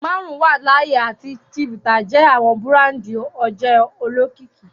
Marun wa laaye ati chivita jẹ awọn burandi oje olokiki.